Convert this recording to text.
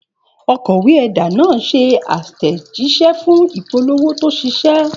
Òkọ̀wé ẹ̀dà náà ṣe àtẹ̀jíṣẹ́ fún ìpolówó tó ṣiṣẹ́.